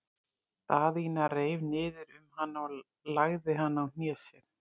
Daðína reif niður um hana og lagði hana á hné sér.